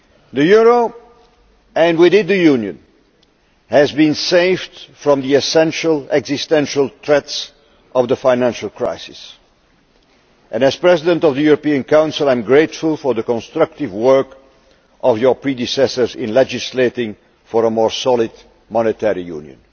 The euro and with it the Union has been saved from the existential threats of the financial crisis, and as President of the European Council, I am grateful for the constructive work of your predecessors in legislating for a more solid monetary union.